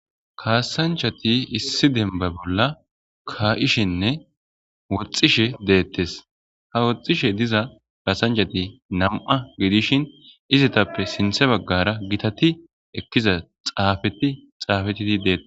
kaasanchati issi denba bolla kaa7ishenne woxxishe deettes ha woxxishe diza kaasanchati nam7a gidishin izatappe sinthe baggara gitati ekkiza xaafeti xaafetiti deette